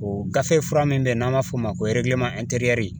O gafe fura min bɛ yen n'an b'a fɔ o ma ko